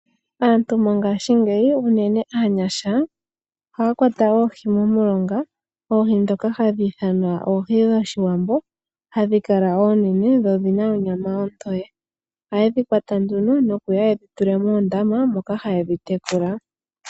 Aantu mongashingeyi, unene aanyasha, ohaya kwata oohi momilonga. Oohi ndhono ohadhi ithanwa oohi dhoshiwambo, hadhi kala oonene, nodhina onyama ontoye. Ohaye dhi kwata nduno, nokudhi tula moondama, moka haye dhi tekulile.